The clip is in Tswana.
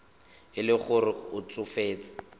e le gore o tsofetse